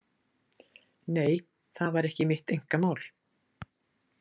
Nei, það var ekki mitt einkamál.